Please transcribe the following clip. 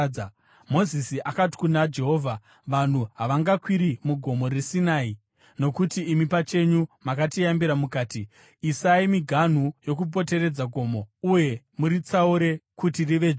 Mozisi akati kuna Jehovha, “Vanhu havangakwiri muGomo reSinai, nokuti imi pachenyu makatiyambira mukati, ‘Isai miganhu yakapoteredza gomo uye muritsaure kuti rive dzvene.’ ”